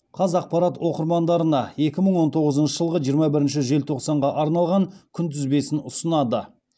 қазақпарат оқырмандарына екі мың он тоғызыншы жылғы жиырма бірінші желтоқсанға арналған күнтізбесін ұсынады